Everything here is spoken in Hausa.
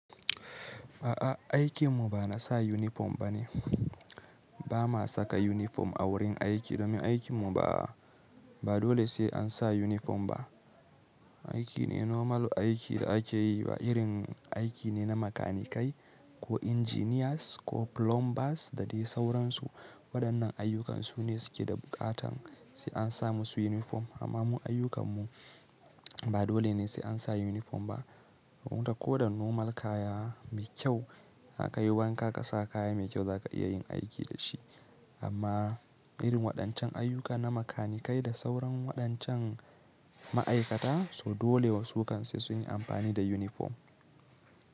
A'a, aikin mu ba na sa uniform bane. Ba ma saka uniform a wurin aiki domin aikin mu ba, ba dole sai an sa uniform ba. Aiki ne normal aiki da ake yi, ba irin aiki ne na makanikai ko engineers ko plumbers da dai sauransu. Waɗannan ayyukan su ne suke da buƙatar sai an sa musu uniform. Amma mun ayyukan mu ba dole ne sai an sa uniform ba. Ko da normal kaya mai kyau zaka yi wanka ka sa kaya mai kyau za ka iya yin aiki da shi. Amma irin waɗancan ayyuka na makanikai da sauran waɗancan ma'aikata, so dole wasu kan sai sun yi amfani da uniform.